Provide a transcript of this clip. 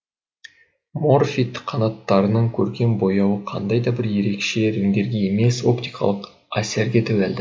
морфид қанаттарының көркем бояуы қандай да бір ерекше реңдерге емес оптикалық әсерге тәуелді